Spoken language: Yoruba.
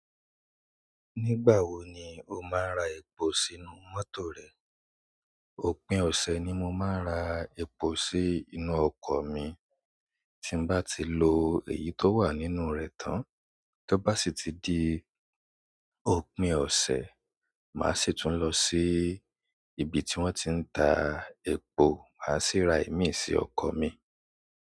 Nígbà wo ni o máa ra ẹ̀po sínú mọ́tò rẹ? Òpin ọ̀sẹ̀ ni mo máa ń ra ẹ̀po sí inú ọkọ̀ mi. Tí n bá lo èyí tó wà nínú rẹ̀ tán tó bá di si ti di òpin ọ̀sẹ̀ máa sì tu lọ sí ibi tí wọ́n ti n ta epo máa sì ri imi sí ọkọ̀ mi.